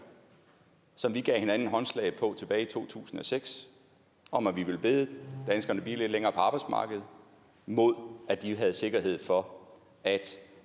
som vi gav hinanden håndslag på tilbage i to tusind og seks om at vi ville bede danskerne blive lidt længere på arbejdsmarkedet mod at de havde sikkerhed for at